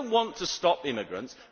We do not want to stop immigrants